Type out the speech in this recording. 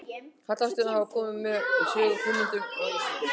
Halastjörnur hafa mjög komið við sögu hugmynda og vísinda.